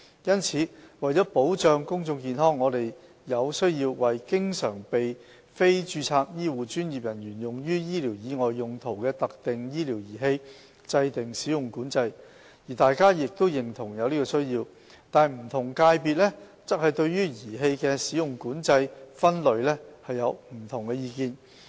因此，為保障公眾健康，我們有需要為經常被非註冊醫護專業人員用於醫療以外用途的特定醫療儀器制訂"使用管制"，而大家亦認同有此需要，但不同界別對儀器的"使用管制"分類有不同意見。